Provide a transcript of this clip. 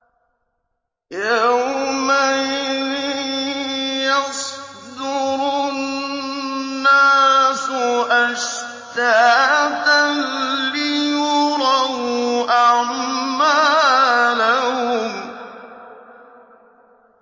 يَوْمَئِذٍ يَصْدُرُ النَّاسُ أَشْتَاتًا لِّيُرَوْا أَعْمَالَهُمْ